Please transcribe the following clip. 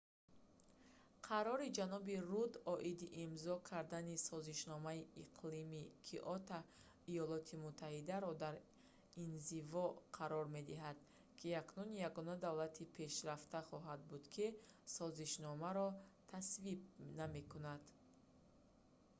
қарори ҷаноби рудд оиди имзо кардани созишномаи иқлими киото иёлоти муттаҳидаро дар инзиво қарор медиҳад ки акнун ягона давлати пешрафта хоҳад буд ки созишномаро тасвиб намекунад